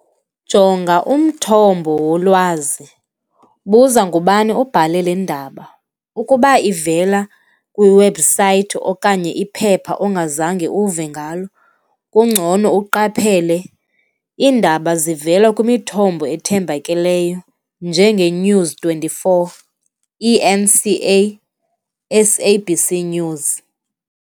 Jonga umthombo wolwazi, buza ngubani obhale le ndaba, ukuba ivela kwiwebhusayithi okanye iphepha ongazange uve ngalo, kungcono uqaphele. Iindaba zivela kwimithombo ethembakeleyo, njengeNews Twenty Four, E_N_C_A, S_A_B_C News.